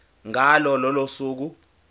ngalo lolo suku